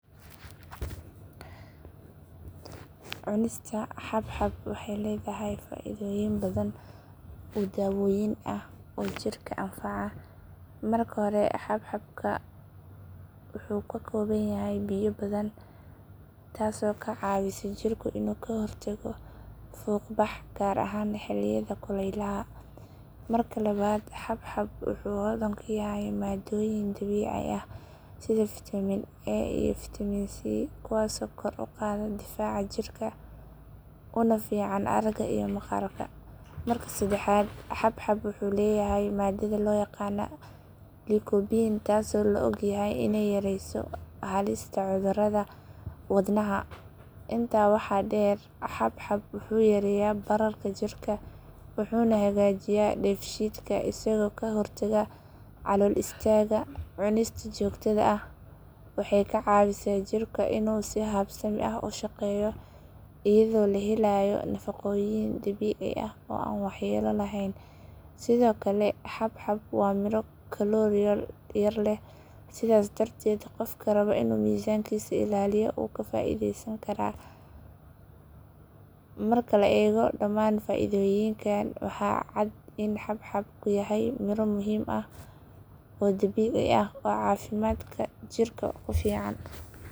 Cunista xabxabxab waxay leedahay faa’iidooyin badan oo dawooyin ah oo jirka anfaca. Marka hore xabxabxab wuxuu ka kooban yahay biyo badan taasoo ka caawisa jirka inuu ka hortago fuuqbaxa gaar ahaan xilliyada kulaylaha. Marka labaad xabxabxab wuxuu hodan ku yahay maadooyin dabiici ah sida fiitamiinka A iyo fiitamiinka C kuwaasoo kor u qaada difaaca jirka una fiican aragga iyo maqaarka. Marka saddexaad xabxabxab wuxuu leeyahay maadada loo yaqaan liikobiin taasoo la ogyahay iney yareyso halista cudurrada wadnaha. Intaa waxaa dheer xabxabxab wuxuu yareeyaa bararka jirka wuxuuna hagaajiyaa dheefshiidka isagoo ka hortaga calool istaagga. Cunistiisa joogtada ah waxay ka caawisaa jirka inuu si habsami ah u shaqeeyo iyadoo la helayo nafaqooyin dabiici ah oo aan waxyeello lahayn. Sidoo kale xabxabxab waa miro kalooriyaal yar leh sidaas darteed qofka raba inuu miisaankiisa ilaaliyo wuu ka faa'iideysan karaa. Marka la eego dhammaan faa’iidooyinkan waxaa cad in xabxabxab yahay miro muhiim ah oo dabiici ah oo caafimaadka jirka ku fiican.